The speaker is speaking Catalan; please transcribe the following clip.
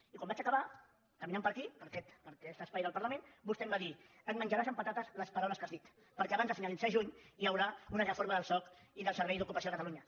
i quan vaig acabar caminant per aquí per aquest espai del parlament vostè em va dir et menjaràs amb patates les paraules que has dit perquè abans de finalitzar juny hi haurà una reforma del soc del servei d’ocupació de catalunya